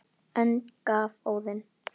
önd gaf Óðinn